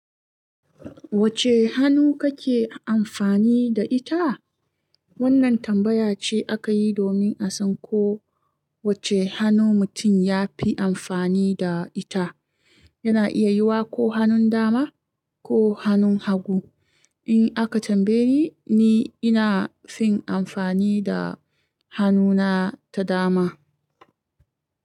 Wacce hannu kake amfani da ita? Wannan tambaya ce aka yi domin a san ko wacce hannu mutum ya fi amfani da ita. Yana iya yiwuwa ko hannun dama ko hannun hagu. In aka tambaye ni, ni ina fin amfani da hannuna ta dama.